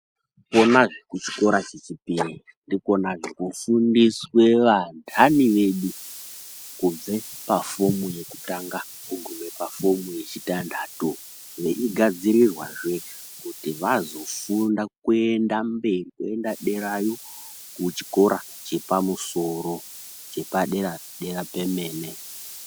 Konazve kuchikora chechipiri ndikonazve kofundiswe vandani vedu kubve pafomu yekutanga kugume pafomu yechitanhatu. Veigadzirirwazve kuti vazofunda kuenda mberi kuenda derayo kuchikora chepamusoro chepadera-dera pemene.